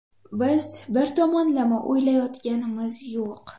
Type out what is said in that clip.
Biz bir tomonlama o‘ylayotganimiz yo‘q.